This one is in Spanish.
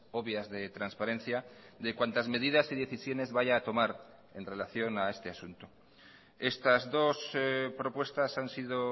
obvias de transparencia de cuantas medidas y decisiones vaya a tomar en relación a este asunto estas dos propuestas han sido